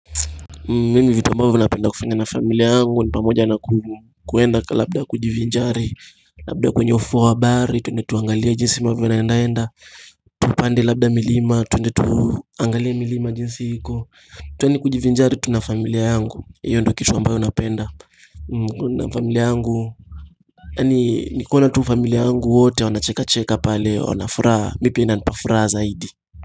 Mimi vitu ambavyo ninapenda kufanya na familia yangu ni pamoja na kuenda labda kujivinjari labda kwenye ufuo wa bahari twende tuangalia jinsi mambo yanavyoendaenda Tupande labda milima, twende tuangalie milima jinsi iko, twende kujivinjari tu na familia yangu. Hiyo ndiyo kitu ambayo napenda na familia yangu yani ni kuona tu familia yangu wote wanachekacheka pale wana furaha mimi pia inanipa furaha zaidi.